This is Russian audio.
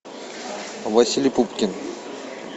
василий пупкин